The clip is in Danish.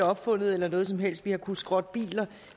opfundet eller noget som helst vi har kunnet skrotte biler